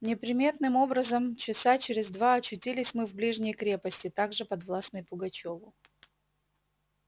неприметным образом часа через два очутились мы в ближней крепости также подвластной пугачёву